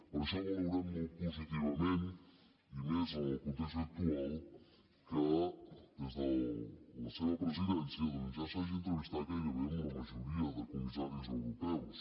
per això valorem molt positivament i més en el context actual que des de la seva presidència doncs ja s’hagi entrevistat gairebé amb la majoria de comissaris europeus